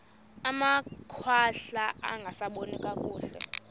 amakhwahla angasaboni nakakuhle